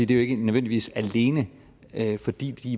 det ikke nødvendigvis alene er fordi de